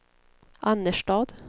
Annerstad